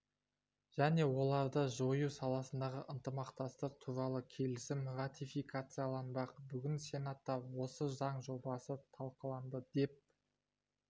және оларды жою саласындағы ынтымақтастық туралы келісім ратификацияланбақ бүгін сенатта осы заң жобасы талқыланды деп